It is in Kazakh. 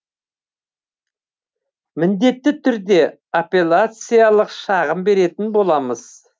міндетті түрде аппеляциялық шағым беретін боламыз